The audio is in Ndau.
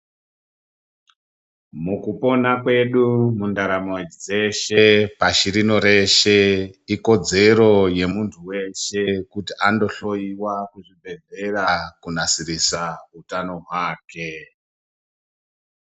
Mukupona kwedu mundaramo dzeshe pashi rino reshe ikodzero yemuntu weshe kuti andohloyiwa kuzvibhedhlera kunasirisa utano hwake.